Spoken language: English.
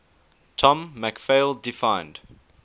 tom mcphail defined